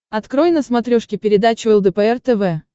открой на смотрешке передачу лдпр тв